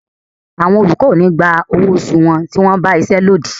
Àwọn olùkọ́ ò ní gba owó oṣù wọn tí wọ́n ba iṣé lódì.